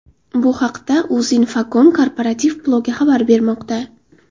Bu haqda Uzinfocom korporativ blogi xabar bermoqda .